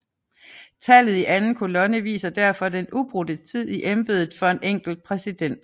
Tallet i anden kolonne viser derfor den ubrudte tid i embedet for en enkelt præsident